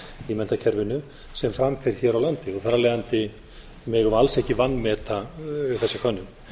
í menntakerfinu sem fram fer hér á landi þar af leiðandi megum við alls ekki vanmeta þessa könnun